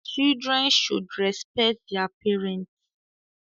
Children should respect their parents